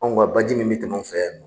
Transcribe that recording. Ɔ nka baji min bɛ tɛmɛ anw fɛ yan bi